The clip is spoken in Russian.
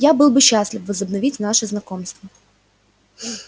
я был бы счастлив возобновить наше знакомство